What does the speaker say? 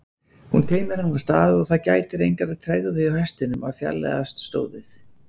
Hún teymir hann af stað og það gætir engrar tregðu hjá hestinum að fjarlægjast stóðið.